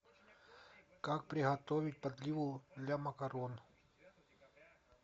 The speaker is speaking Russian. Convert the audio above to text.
как приготовить подливу для макарон